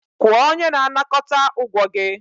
Kwụọ onye na-anakọta ụgwọ gị.